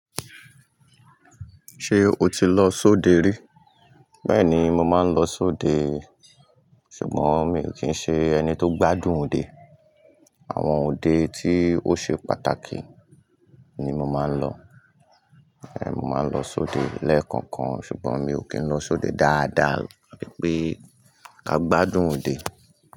Ṣé o ti lọ sóde rí? Bẹ́ẹ̀ni, mo máa ń lọ sóde. Ṣùgbọ́n mi ò kí ń ṣe ẹni tó gbádùn òde. Àwọn òde tí ó ṣe pàtàkì ni mo máa ń lọ. Ẹ̀, mo máa ń lọ sóde lẹ́ẹ̀kọ̀kan. Ṣùgbọ́n mi ò kí ń lọ sóde dáadáa abi pé ká gbádùn òde.